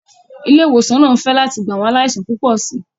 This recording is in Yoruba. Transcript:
Ilé ìwòsàn náà ń fẹ̀ láti gba àwọn aláìsàn púpọ̀ sí i.